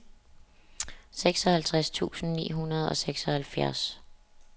seksoghalvtreds tusind ni hundrede og seksoghalvfjerds